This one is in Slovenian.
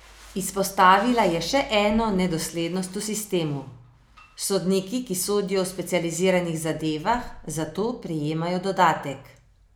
Izpostavila je še eno nedoslednost v sistemu: "Sodniki, ki sodijo v specializiranih zadevah, za to prejemajo dodatek.